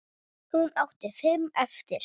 Hún átti fimm eftir.